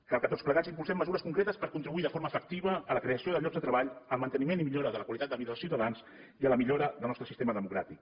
cal que tots plegats impulsem mesures concretes per contribuir de forma efectiva a la creació de llocs de treball al manteniment i millora de la qualitat de vida dels ciutadans i a la millora del nostre sistema democràtic